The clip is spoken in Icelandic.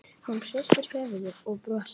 Hún hristir höfuðið og brosir.